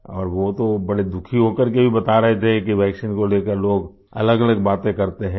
और वो तो बड़े दुखी हो करके बता रहे थे कि वैक्सीन को लेकर लोग अलगअलग बातें करते हैं